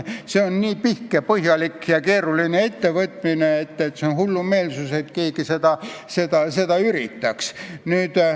See on nii pikk ja keeruline ettevõtmine, et on hullumeelsus, kui keegi seda üritab.